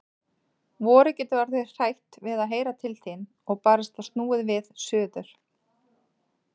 Vorið getur orðið hrætt við að heyra til þín. og barasta snúið við suður.